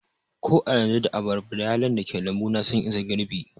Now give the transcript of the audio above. Ko a yanzu, da abarba da yalon dake lambu na sun isa girɓi